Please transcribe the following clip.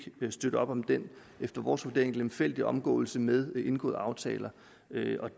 støtte op om den efter vores vurdering lemfældige omgåelse med indgåede aftaler